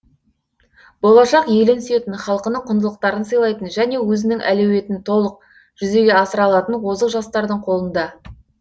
болашақ елін сүйетін халқының құндылықтарын сыйлайтын және өзінің әлеуетін толық жүзеге асыра алатын озық жастардың қолында